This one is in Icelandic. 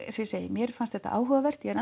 segi mér fannst þetta áhugavert ég er